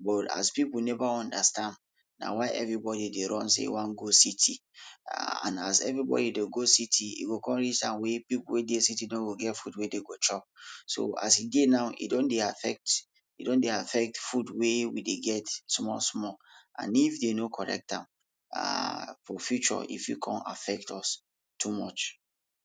but as pipul neva understand na why everybodi dey run sey dey wan go city, [aahh] and as everybodi dey go city, e go come reach time wey pipul wey dey city no go get food wey dey go chop. so as e dey now, e don de affect, e don dey affect food wey we dey get small small and if dey no correct am, aah for future e fit come affect us, too much.